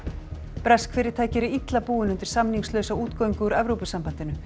bresk fyrirtæki eru illa búin undir samningslausa útgöngu úr Evrópusambandinu